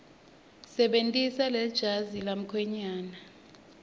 sebentisa lejazi lemkhwenyane